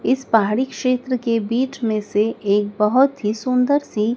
इस पहाड़ी क्षेत्र के बीच में से एक बहोत ही सुंदर सी--